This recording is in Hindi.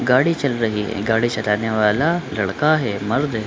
गाड़ी चल रही है। गाड़ी चलाने वाला लड़का है मर्द है।